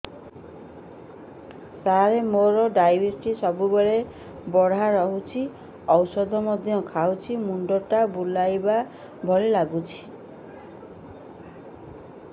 ସାର ମୋର ଡାଏବେଟିସ ସବୁବେଳ ବଢ଼ା ରହୁଛି ଔଷଧ ମଧ୍ୟ ଖାଉଛି ମୁଣ୍ଡ ଟା ବୁଲାଇବା ଭଳି ଲାଗୁଛି